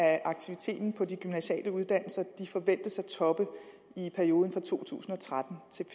at aktiviteten på de gymnasiale uddannelser forventes at toppe i perioden fra to tusind og tretten til